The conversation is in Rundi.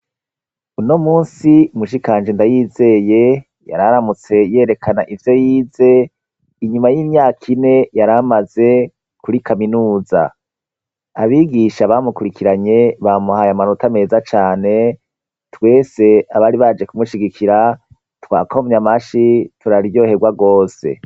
Uno munsi mushikanje Ndayizeye yararamutse yerekana ivyo yize, inyuma y'imyaka ine yaramaze kuri Kaminuza . Abigisha bamukurikiranye bamuhaye amanota meza cane, twese abari baje kumushigikira twakomye amashi turaryoherwa rwose.